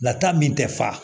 Lata min tɛ fa